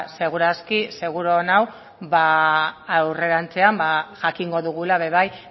seguru aski seguru nago ba aurrerantzean ba jakingo dugula ere bai